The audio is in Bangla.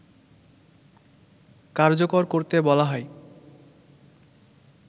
কার্যকর করতে বলা হয়